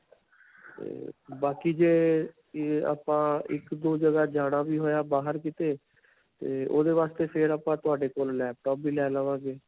'ਤੇ ਬਾਕੀ ਜੇ ਆਪਾਂ ਇੱਕ-ਦੋ ਜਗ੍ਹਾ ਜਾਣਾ ਵੀ ਹੋਇਆ ਬਾਹਰ ਕਿਤੇ.ਤੇ ਓਹਦੇ ਵਾਸਤੇ ਫਿਰ ਆਪਾਂ ਤੁਹਾਡੇ ਕੋਲੋਂ laptop ਵੀ ਲੈ ਲਵਾਂਗੇ.